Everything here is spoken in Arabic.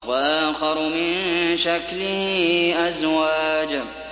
وَآخَرُ مِن شَكْلِهِ أَزْوَاجٌ